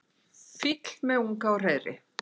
fýll með unga á hreiðri